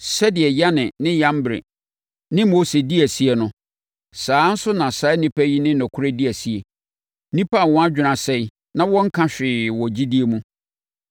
Sɛdeɛ Yane ne Yambre ne Mose dii asie no, saa ara nso na saa nnipa yi ne nokorɛ di asie, nnipa a wɔn adwene asɛe na wɔnnka hwee wɔ gyidie mu.